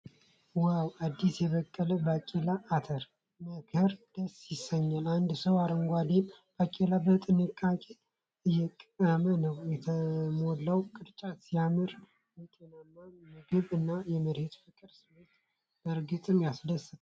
ዋው! አዲስ የበቀለ ባቄላ ( አተር ) መከር ደስ ያሰኛል። አንድ ሰው አረንጓዴውን ባቄላ በጥንቃቄ እየለቀመ ነው። የተሞላው ቅርጫት ሲያምር! የጤናማ ምግብ እና የመሬት ፍቅር ስሜት በእርግጥም ያስደስታል።